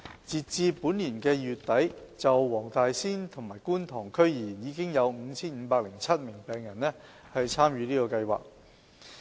截至本年2月底，就黃大仙和觀塘區而言，已有 5,507 名病人參與這個計劃。